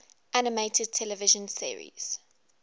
animated television series